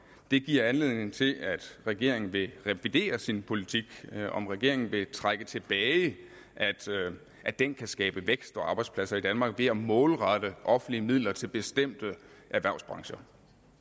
det giver anledning til at regeringen vil revidere sin politik om regeringen vil trække det tilbage altså at den kan skabe vækst og arbejdspladser i danmark ved at målrette offentlige midler til bestemte erhvervsbrancher